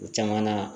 O caman na